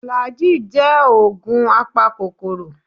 Flagy jẹ́ ògùn apakòkòrò